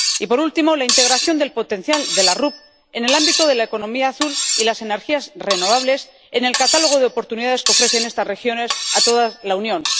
y, por último, la integración del potencial de las RUP en el ámbito de la economía azul y las energías renovables en el catálogo de oportunidades que ofrecen estas regiones a toda la Unión.